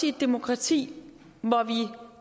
i et demokrati hvor vi